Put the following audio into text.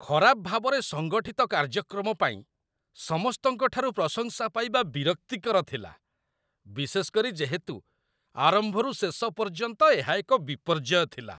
ଖରାପ ଭାବରେ ସଙ୍ଗଠିତ କାର୍ଯ୍ୟକ୍ରମ ପାଇଁ ସମସ୍ତଙ୍କ ଠାରୁ ପ୍ରଶଂସା ପାଇବା ବିରକ୍ତିକର ଥିଲା, ବିଶେଷ କରି ଯେହେତୁ ଆରମ୍ଭରୁ ଶେଷ ପର୍ଯ୍ୟନ୍ତ ଏହା ଏକ ବିପର୍ଯ୍ୟୟ ଥିଲା